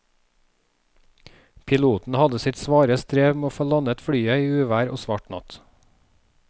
Piloten hadde sitt svare strev med å få landet flyet i uvær og svart natt.